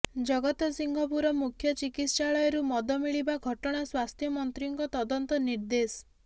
ଜଗତସିଂହପୁର ମୁଖ୍ୟ ଚିକିତ୍ସାଳୟରୁ ମଦ ମିଳିବା ଘଟଣା ସ୍ବାସ୍ଥ୍ୟ ମନ୍ତ୍ରୀଙ୍କ ତଦନ୍ତ ନିର୍ଦ୍ଦେଶ